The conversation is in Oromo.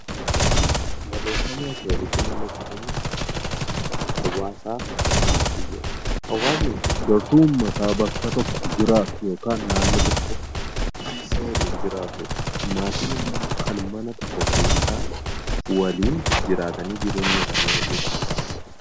Barreeffamni asiin gaditti mul'atu kun Hawwaasaa fi maatii dha. Hawwasni gartuu uummataa bakka tokko jiraatu yookiin naannoo tokko keessa waliin jiraatuu dha. Maatiin immoo kan mana tokko keessa waliin jiraatanii jireenya isaanii gaggeeffatanii dha.